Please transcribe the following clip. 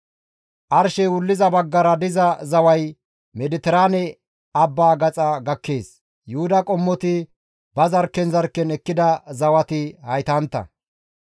Arshey wulliza baggara diza zaway Mediteraane abbaa gaxa gakkees. Yuhuda qommoti ba zarkken zarkken ekkida zawati haytantta.